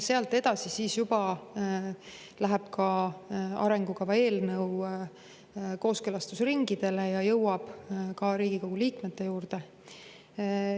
Sealt edasi läheb arengukava eelnõu juba kooskõlastusringidele ja jõuab ka Riigikogu liikmeteni.